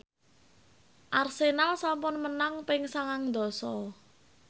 Arsenal sampun menang ping sangang dasa